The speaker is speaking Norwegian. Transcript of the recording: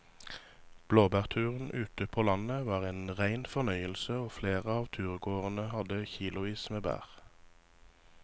Blåbærturen ute på landet var en rein fornøyelse og flere av turgåerene hadde kilosvis med bær.